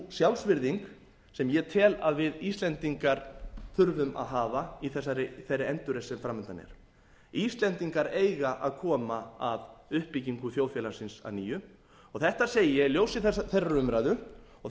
sjálfsvirðing sem ég tel að við íslendingar þurfum að hafa í þeirri endurreisn sem framundan er íslendingar eiga að koma að uppbyggingu þjóðfélagsins að nýju og þetta segi ég í ljósi þeirrar umræðu og